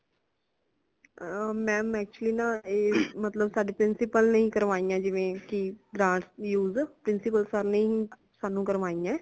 ਅਹ ma'am actually ਨਾਂ ਇਹ ਮੱਤਲਬ ਸਾਡੇ principal ਨੇ ਕਰਵਾਇਆ ਜਿਵੇ ਕਿ branch use principal sir ਨੇ ਹੀ ਸਾਂਨੂੰ ਕਾਰਵਾਈਆਂ